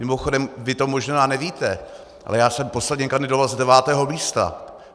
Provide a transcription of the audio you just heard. Mimochodem, vy to možná nevíte, ale já jsem posledně kandidoval z devátého místa.